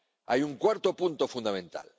Hay un cuarto punto fundamental.